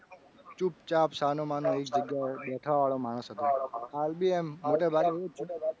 એ વખતે હું ખૂબ જ ચૂપચાપ છાનોમાનો એક જગ્યાએ બેઠા વાળું માણસ હતો. હાલ બી એમ તો મોટે ભાગે એવો જ છું.